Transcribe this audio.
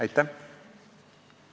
Aitäh!